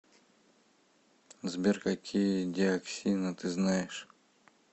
сбер какие диоксины ты знаешь